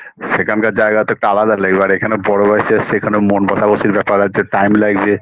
সেখানকার জায়গা তো একটা আলাদা লাগবে এখানে বড় হয়েছে সেখানে মন বসা বসির ব্যাপার আছে time লাগবে